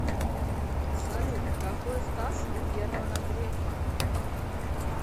салют какой стаж у германа грефа